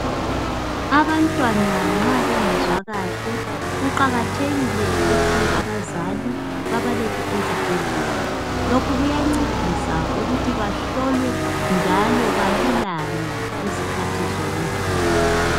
Abantwana nxa bengezwa kahle kuqakathekile ukuthi abazali babalethe ezibhedlela lokhu kuyancedisa ukuthi bahlolwe njalo balulame izikhathi zonke.